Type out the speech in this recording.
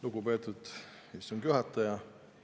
Lugupeetud istungi juhataja!